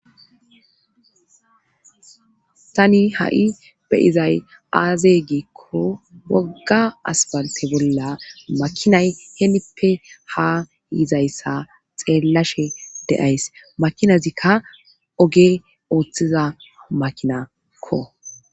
tani ha7i beyizay aaze giikko wogga asplante bolla makinay heemippe ha yizayssa xeellashe deays makinazikka oge ooththiza makinakko